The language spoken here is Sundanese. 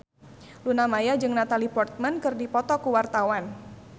Luna Maya jeung Natalie Portman keur dipoto ku wartawan